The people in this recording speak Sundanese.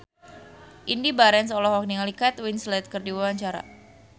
Indy Barens olohok ningali Kate Winslet keur diwawancara